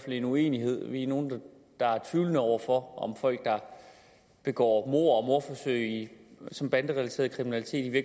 en uenighed vi er nogle der er tvivlende over for om folk der begår mord og mordforsøg som banderelateret kriminalitet i